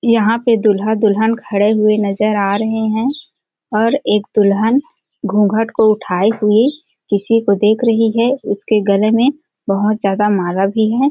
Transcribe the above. यहाँ पे दूल्हा-दुल्हन खड़े हुए नज़र आ रहै हैं और एक दुल्हन घूँघट को उठाए हुए किसी देख रही है उसके गले में बहोत ज्यादा माला भी है।